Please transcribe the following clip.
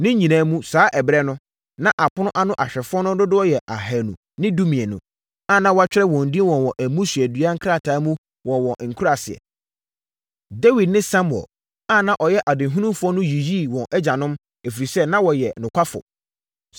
Ne nyinaa mu, saa ɛberɛ no, na apono ano ahwɛfoɔ no dodoɔ yɛ ahanu ne dumienu (212) a na wɔatwerɛ wɔn din wɔ wɔn mmusuadua nkrataa mu wɔ wɔn nkuraaseɛ. Dawid ne Samuel a na ɔyɛ ɔdehunufoɔ no yiyii wɔn agyanom, ɛfiri sɛ na wɔyɛ nokwafoɔ.